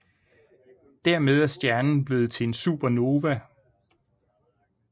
Dermed er stjernen blevet til en Supernova